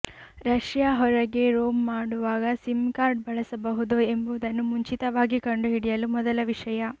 Russia ಹೊರಗೆ roam ಮಾಡುವಾಗ SIM card ಬಳಸಬಹುದು ಎಂಬುದನ್ನು ಮುಂಚಿತವಾಗಿ ಕಂಡುಹಿಡಿಯಲು ಮೊದಲ ವಿಷಯ